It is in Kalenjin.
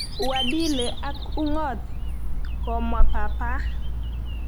uadili ak ung'ot"komwa Papa.